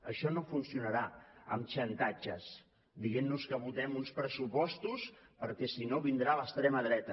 això no funcionarà amb xantatges dient nos que votem uns pressupostos perquè si no vindrà l’extrema dreta